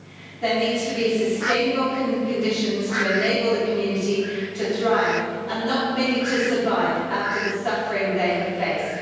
There must be sustainable conditions to enable the community to thrive, and not merely to survive, after the suffering they have faced.